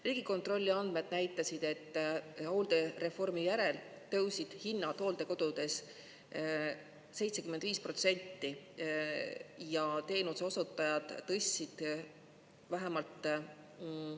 Riigikontrolli andmed näitasid, et hooldereformi järel tõusid hinnad hooldekodudes 75% ja teenuseosutajad tõstsid vähemalt …